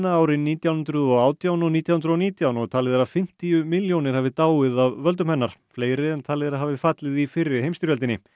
árin nítján hundruð og átján og nítján hundruð og nítján og talið er að fimmtíu milljónir hafi dáið af völdum hennar fleiri en talið er að hafi fallið í fyrri heimsstyrjöldinni